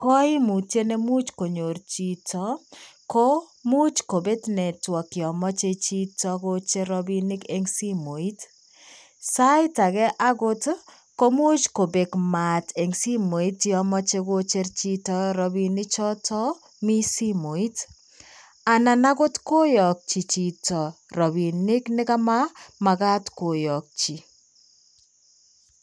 Koimutiet nemuch konyor chito komuch kobet network yamache chito kocher robinik eng simooit. Saait age akot komuch kobek maat eng simooit yamachei chito kojer robinichoto mi simooit. Anan akot koyakyi chito robinik nekamamagat koyakyi.